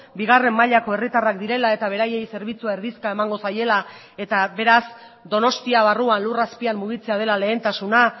bigarren mailako herritarrak direla eta beraiei zerbitzua erdizka emango zaiela eta beraz donostia barruan lur azpian mugitzea dela lehentasuna